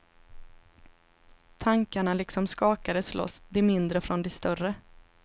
Tankarna liksom skakades loss, de mindre från de större.